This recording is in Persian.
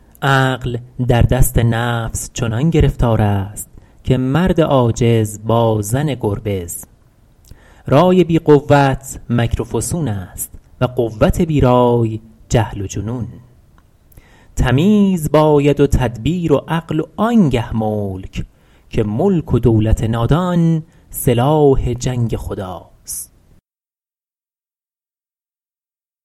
عقل در دست نفس چنان گرفتار است که مرد عاجز با زن گربز رای بی قوت مکر و فسون است و قوت بی رای جهل و جنون تمیز باید و تدبیر و عقل و آن گه ملک که ملک و دولت نادان سلاح جنگ خداست